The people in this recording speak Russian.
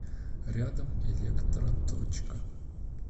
рядом электроточка